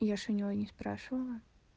я ж у него не спрашивала